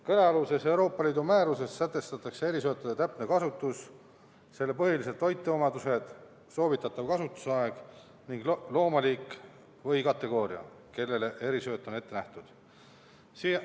Kõnealuses Euroopa Liidu määruses sätestatakse erisöötade täpne kasutus, põhilised toiteomadused, soovitatav kasutusaeg ning loomaliik või -kategooria, kellele erisööt on ette nähtud.